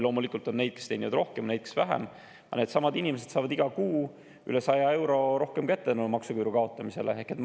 Loomulikult on neid, kes teenivad rohkem, ja neid, kes vähem, aga needsamad inimesed hakkavad saama iga kuu üle 100 euro rohkem kätte tänu maksuküüru kaotamisele.